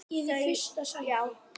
Þau: Já.